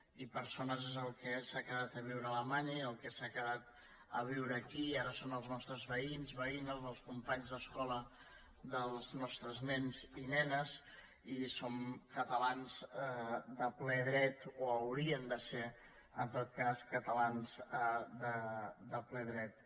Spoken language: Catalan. i persones és el que s’ha quedat a viure a alemanya i el que s’ha quedat a viure aquí i ara són els nostres veïns veïnes els companys d’escola dels nostres nens i nenes i són catalans de ple dret o haurien de ser en tot cas cata·lans de ple dret